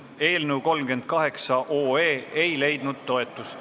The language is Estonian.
Eelnõu 38 ei leidnud toetust.